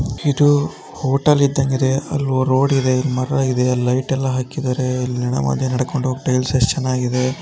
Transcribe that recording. ಇದು ಹೋಟೆಲ್ ಇದ್ದಂಗ ಇದೆ ಅಲ್ಲೊ ರೋಡ್ ಇದೆ ಇಲ್ ಮರ ಇದೆ ಲೈಟ್ ಎಲ್ಲ ಹಾಕಿದಾರೆ ಇಲ್ಲಿ ಮದ್ಯ ನಡ್ಕೊಂಡು ಹೋಗ್ ಟೈಲ್ಸ್ ಎಷ್ಟು ಚೆನ್ನಾಗಿದೆ.